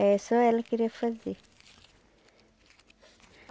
É, só ela queria fazer.